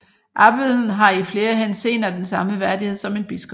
Abbeden har i flere henseender den samme værdighed som en biskop